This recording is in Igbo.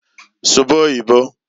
"Suba oyibo".